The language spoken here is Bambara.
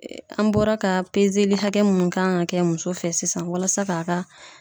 An bɔra ka hakɛ munnu kan ka kɛ muso fɛ sisan , walasa k'a ka